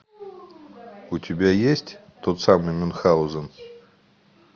у тебя есть тот самый мюнхаузен